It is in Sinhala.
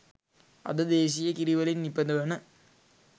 අද දේශීය කිරිවලින් නිපදවන